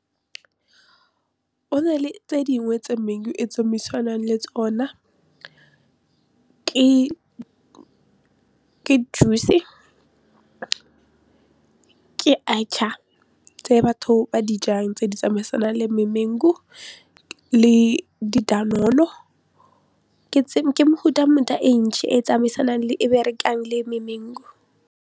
GO na le tse dingwe tse mangu e tsamaisanang le tsona ke juice ke archaar tse batho ba dijang tse di tsamaisanang le memangu le di-danone-o ke mefutafuta e ntsi e tsamaisanang le e berekang le memangu.